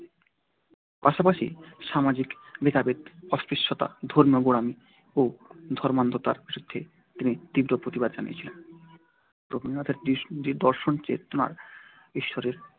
পাশাপাশি সামাজিক ভেদাভেদ অস্পৃশ্যতা ধর্মীয়গোঁড়ামি ও ধর্মান্ধতার বিরুদ্ধেও তিনি তীব্র প্রতি বাদ জানিয়েছিলেন। রবীন্দ্রনাথের দর্শনচেতনায় ঈশ্বরের